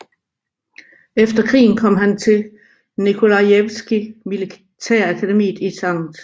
Efter krigen kom han på Nikolajevskij militærakademiet i St